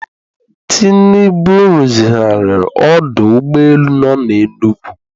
Tinubu rụzigharị ọdụ ụgbọ elu nọ na Enugu